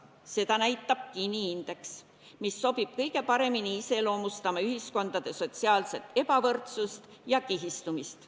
Seda näitab Gini indeks, mis sobib kõige paremini iseloomustama ühiskondade sotsiaalset ebavõrdsust ja kihistumist.